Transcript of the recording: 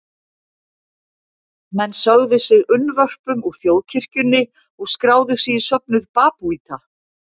Menn sögðu sig unnvörpum úr þjóðkirkjunni og skráðu sig í söfnuð babúíta.